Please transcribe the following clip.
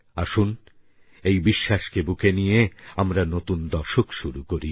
আসুন এই বিশ্বাসকে বুকে নিয়ে আমরা নতুন দশক শুরু করি